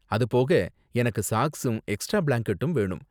அது போக, எனக்கு சாக்ஸும் எக்ஸ்ட்ரா பிளாங்கெட்டும் வேணும்.